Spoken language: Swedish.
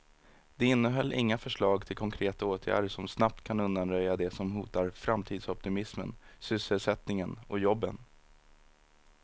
Det innehöll inga förslag till konkreta åtgärder som snabbt kan undanröja det som hotar framtidsoptimismen, sysselsättningen och jobben.